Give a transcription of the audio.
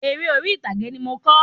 Eré orí ìtàgé ni mo n kọ